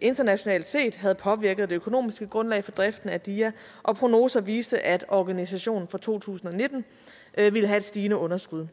internationalt set havde påvirket det økonomiske grundlag for driften af dia og prognoser viste at organisationen for to tusind og nitten ville have et stigende underskud